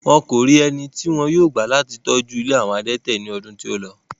Wọ́n kò rí eni tí wọn yóò gbà láti tọ́jú ilé àwọn adẹ́tẹ̀ ní ọdún tí ó lọ.